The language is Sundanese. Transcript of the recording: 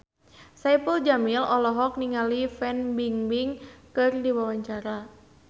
Saipul Jamil olohok ningali Fan Bingbing keur diwawancara